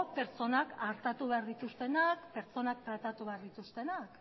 pertsonak artatuko behar dituztenak pertsonak tratatu behar dituztenak